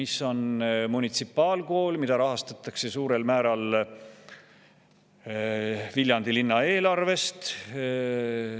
See on munitsipaalkool, mida suurel määral rahastatakse Viljandi linna eelarvest.